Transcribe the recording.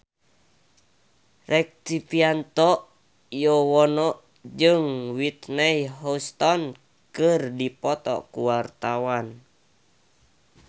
Rektivianto Yoewono jeung Whitney Houston keur dipoto ku wartawan